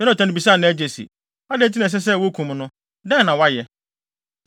Yonatan bisaa nʼagya se, “Adɛn nti na ɛsɛ sɛ wokum no? Dɛn na wayɛ?”